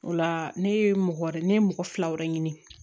O la ne ye mɔgɔ wɛrɛ ne ye mɔgɔ fila wɛrɛ ɲini